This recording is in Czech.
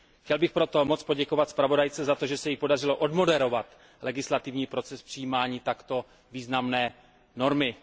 Chtěl bych proto moc poděkovat zpravodajce za to, že se jí podařilo odmoderovat legislativní proces přijímaní takto významné normy.